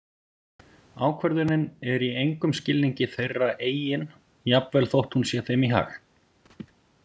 Ákvörðunin er í engum skilningi þeirra eigin jafnvel þótt hún sé þeim í hag.